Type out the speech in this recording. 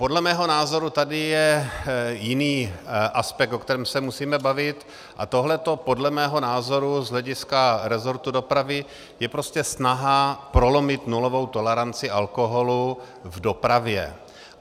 Podle mého názoru tady je jiný aspekt, o kterém se musíme bavit, a tohle podle mého názoru z hlediska resortu dopravy je prostě snaha prolomit nulovou toleranci alkoholu v dopravě.